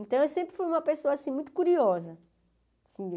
Então, eu sempre fui uma pessoa assim muito curiosa.